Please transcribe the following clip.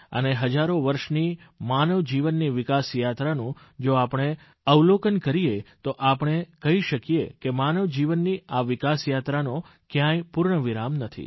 અને હજારો વર્ષની માનવજીવનની વિકાસયાત્રાનું જો આપણે અવલોકનકરીએ તો આપણે કહી શકીએ કે માનવજીવનની આ વિકાસયાત્રાનો કયાંય પૂર્ણવિરામ નથી